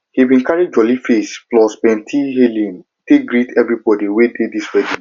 he bin carry jolly face plus plenti hailing take greet everbodi wey dey di wedding